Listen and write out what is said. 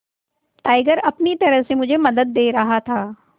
tiger अपनी तरह से मुझे मदद दे रहा था